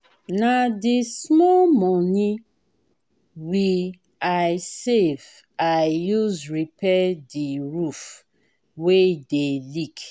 na di small moni we i save i use repair di roof wey dey leak.